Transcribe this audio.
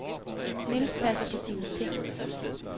Niels passer på sine ting.